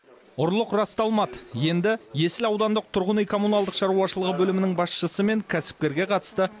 ұрлық расталмады енді есіл аудандық тұрғын үй коммуналдық шаруашылығы бөлімінің басшысы мен кәсіпкерге қатысты